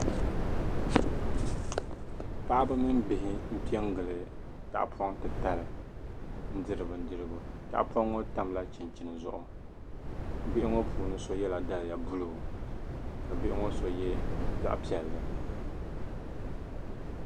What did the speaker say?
Paɣiba mini bihi m-pe n-gili tahapɔŋ titali n-diri bindirigu. Tahapɔŋ ŋɔ tamla chinchini zuɣu. Bihi ŋɔ puuni so yɛla daliya ʒee ka bihi ŋɔ so ye zaɣ' piɛlli.